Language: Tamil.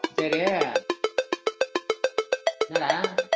சேரி என்னடா